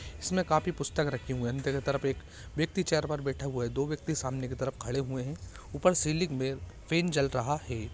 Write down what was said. इसमें काफी पुस्तक रखी हुई हैं नीचे की तरफ एक व्यक्ति चेयर पर बैठा हुआ है दो व्यक्ति सामने की तरफ खड़े हुए हैं ऊपर सीलिंग फैन चल रहा है